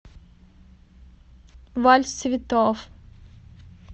вальс цветов